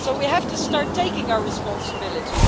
We have to start assuming our responsibility.